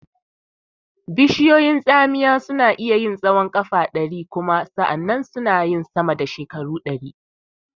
Bishiyun tsamiya suna iya yin tsahon ƙafa ɗari kuma sana yin sama da shekara ɗari.